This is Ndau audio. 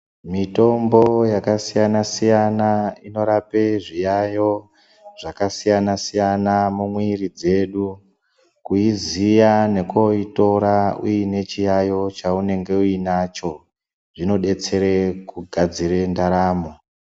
Mitombo yakasiyana siyana inorape zviyayiyo zvakasiyana siyana mumwiiri dzedu kuiziya nekoitora uine chiyayiyo chaunenge uinacho zvinodetsere kugadzire ndaramo.